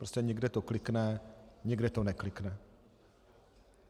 Prostě někde to klikne, někde to neklikne.